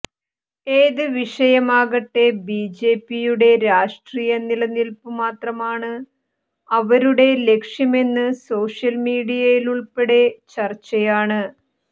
ഏത് വിഷയമാകട്ടെ B J പിയുടെ രാഷ്ട്രീയ നിലനില്പു മാത്രമാണ് അവരുടെ ലക്ഷ്യമെന്ന് സോഷ്യൽമീഡിയയിലുള്പ്പെടെ ചര്ച്ചയാണ്